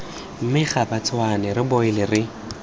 mme gabatshwane re boile re